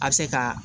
A bɛ se ka